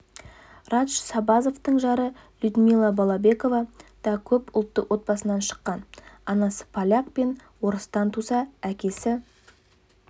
радж сабазовтың жары людмила балабекова да көп ұлтты отбасынан шыққан анасы поляк пен орыстан туса әкесі